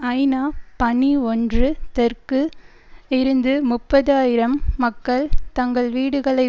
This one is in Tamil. ஐநாபணி ஒன்று தெற்கு இருந்து முப்பது ஆயிரம் மக்கள் தங்கள் வீடுகளை